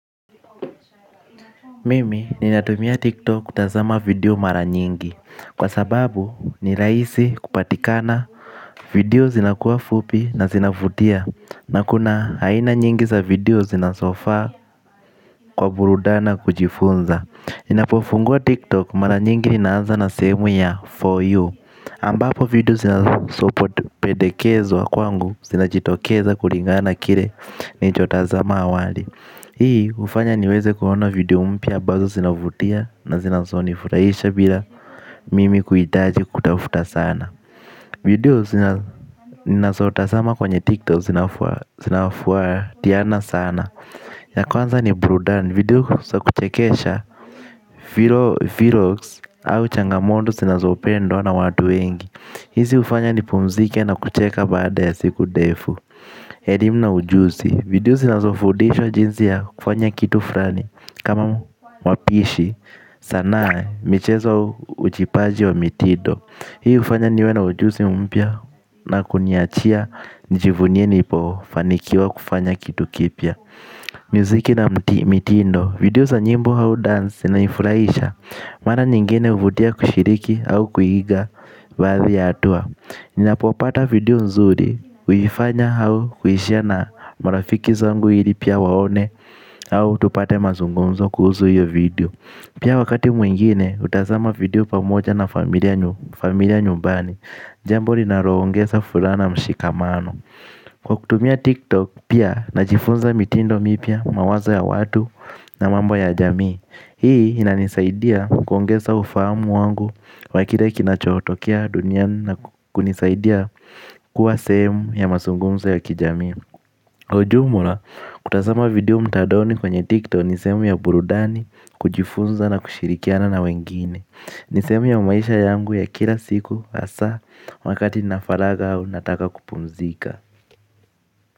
Mimi ninatumia tiktok kutazama video mara nyingi. Kwa sababu ni rahisi kupatikana video zinakuwa fupi na zinavutia. Na kuna aina nyingi za video zinazofaa kwa burudani na kujifunza. Ninapofungua tiktok mara nyingi ninaanza na sehemu ya for you ambapo video zinazopendekezwa kwangu zinajitokeza kulingana kile nilichotazama awali. Hii hufanya niweze kuona video mpya ambazo zinavutia na zinazonifurahisha bila mimi kuhitaji kutafuta sana. Video ninazotazama kwenye tiktok zinafwatiana sana. Ya kwanza ni burudani, video za kuchekesha, vlogs au changamoto zinazopendwa na watu wengi. Hizi hufanya nipumzike na kucheka baada ya siku ndefu. Elimu na ujuzi, video zinazofundisha jinsi ya kufanya kitu fulani. Kama wapishi, sanaa, michezo ujipaji wa mitindo. Hii hufanya niwe na ujuzi mpya na kuniachia nijivunie nilipofanikiwa kufanya kitu kipya. Muziki na mitindo, video za nyimbo au dance na inanifurahisha. Mara nyingine huvutia kushiriki au kuiiga baadhi ya hatua. Ninapopata video nzuri, huifanya au kuishare na marafiki zangu ili pia waone. Au tupate mazungunzo kuhusu hiyo video. Pia wakati mwingine hutazama video pamoja na familia nyumbani. Jambo linaloongeza furaha na mshikamano kwa kutumia tiktok pia najifunza mitindo mpya mawazo ya watu na mambo ya jamii. Hii inanisaidia kuongeza ufahamu wangu wa kile kinachotokea dunia na kunisaidia kuwa sehemu ya mazungunzo ya kijamii. Ujumla kutazama video mtandaoni kwenye TikTok nisehemu ya burudani kujifunza na kushirikiana na wengine. Nisehemu ya maisha yangu ya kila siku hasa wakati nina faraga au nataka kupumzika.